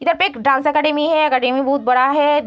इधर पे एक डांस एकेडमी है एकेडमी बहुत बड़ा है।